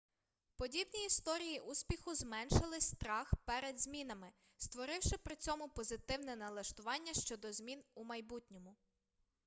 подібні історії успіху зменшили страх перед змінами створивши при цьому позитивне налаштування щодо змін у майбутньому